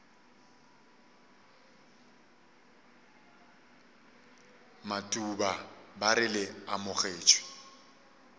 matuba ba re le amogetšwe